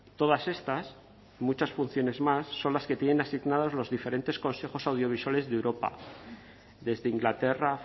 todas estas y muchas funciones más son las que tienen asignados los diferentes consejos audiovisuales de europa desde inglaterra